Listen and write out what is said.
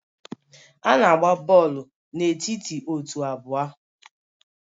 A na-agba bọọlụ n'etiti otu abụọ